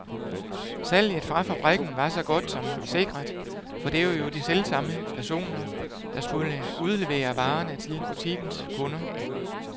Salget fra fabrikken var så godt som sikret, for det var jo de selvsamme personer, der skulle udlevere varerne til butikkens kunder.